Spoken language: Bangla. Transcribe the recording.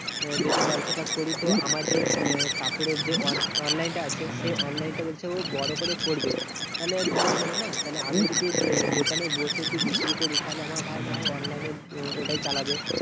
যদি ব্যবসাটা করি তো আমার যে কাপড়ের যে online টা আছে, সে online টা হচ্ছে ও বড় করে করবে। তাহলে ভালোই হলো না। তাহলে আমি যদি দোকানে বসে বিক্রি করি, তাহলে আমার ভাই না হয় online এ ওটাই চালাবে।